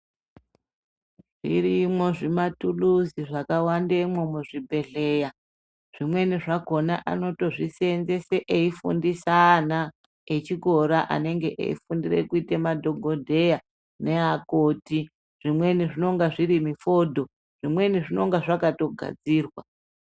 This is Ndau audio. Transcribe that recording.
Zvirimwo zvimatuluzi zvakawandemwo muzvibhedhleya zvimweni zvakhona anotozvisenzese eifundise ana echikora anenge eifundire kuiteadhokodheya neakoti zvimweni zvinonga zviri mufodho zvimweni zvinonga zvakatogadzirwa.